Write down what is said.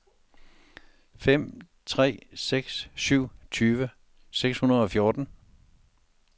fem tre seks syv tyve seks hundrede og fjorten